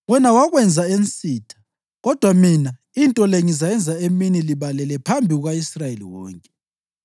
Wena wakwenza ensitha, kodwa mina into le ngizayenza emini libalele phambi kuka-Israyeli wonke.’ ”